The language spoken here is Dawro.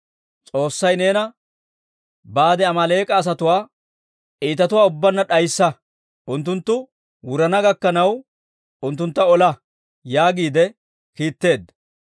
S'oossay neena, ‹Baade Amaaleek'a asatuwaa iitatuwaa ubbaanna d'ayssa; unttunttu wurana gakkanaw unttuntta ola› yaagiide kiitteedda.